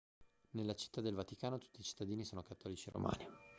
nella città del vaticano tutti i cittadini sono cattolici romani